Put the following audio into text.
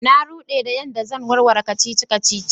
Na rude da yan da zan warware kacici-kacici.